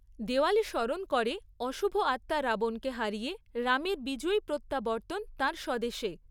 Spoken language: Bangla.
দেওয়ালি স্মরণ করে অশুভ আত্মা রাবণকে হারিয়ে রামের বিজয়ী প্রত্যাবর্তন তাঁর স্বদেশে।